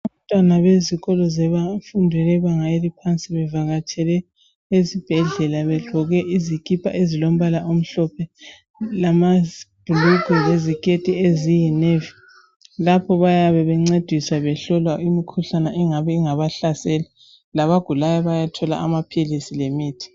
Abantwana bezikolo zebanga eliphansi bevakatshele esibhedlela begqoke izikipa ezilombala omhlophe lamabhulugwe leziketi eziyi navy lapho bayabe bencedisa behlolwa imikhuhlane engabe ingabahlasela labagulayo bayathola amaphilisi lemithi